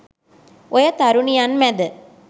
ඔය තරුණියන් මැද